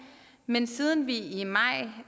men siden vi i maj